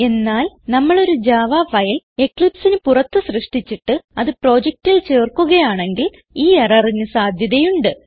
എന്നാൽ നമ്മൾ ഒരു ജാവ ഫൈൽ എക്ലിപ്സ് പുറത്ത് സൃഷ്ടിച്ചിട്ട് അത് പ്രൊജക്റ്റിൽ ചേർക്കുകയാണെങ്കിൽ ഈ എററിന് സാധ്യതയുണ്ട്